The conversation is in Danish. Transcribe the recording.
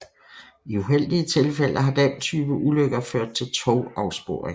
I uheldige tilfælde har den type ulykker ført til togafsporing